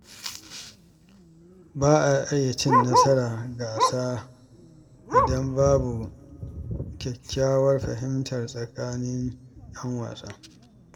Ba a iya cin nasara a gasa idan babu kyakkyawar fahimta tsakanin 'yan wasa.